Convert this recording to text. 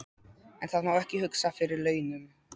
En það má ekki hugsa fyrir launum.